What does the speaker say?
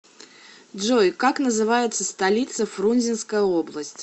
джой как называется столица фрунзенская область